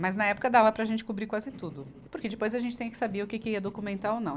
Mas, na época, dava para a gente cobrir quase tudo, porque depois a gente tinha que saber o que que ia documentar ou não.